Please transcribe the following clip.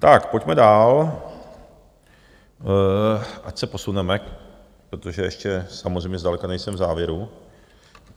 Tak pojďme dál, ať se posuneme, protože ještě samozřejmě zdaleka nejsem v závěru.